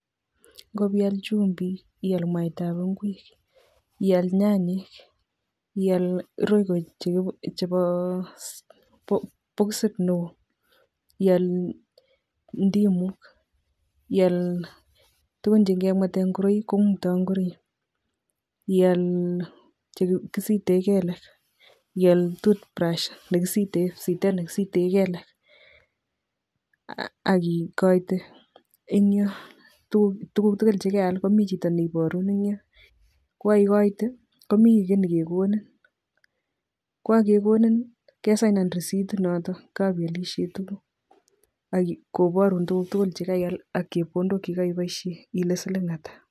Ngopial chumbik, ial mwaitab ingwek, ial nyanyek, ial royco chebo bokisit neo, ial ndimuk, ial tugun chenge mwetee ngoraik kongutoi ngoroik, ial che kisite kelek, ial toothbrush kipsitet nekisite kelek aki ikoite eng yoo tuguk tugul che keal ,komi chito ne iporun eng yoo, ko kaikoite komi keiy nekekonini, k kakekonin kesainan risitit noto kapialishe tuguk ak koparun tuguk tugul chekaial ak chepkondok chekaipoishe ile siling atak.